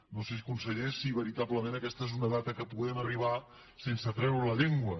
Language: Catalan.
no sé conseller si veritablement aquesta és una data que hi puguem arribar sense treure la llengua